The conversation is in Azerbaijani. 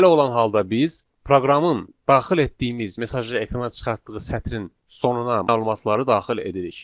Belə olan halda biz proqramın daxil etdiyimiz mesajı ekrana çıxartdığı sətrin sonuna məlumatları daxil edirik.